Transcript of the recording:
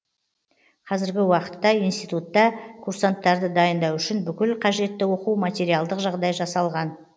қазіргі уақытта институтта курсанттарды дайындау үшін бүкіл қажетті оқу материалдық жағдай жасалған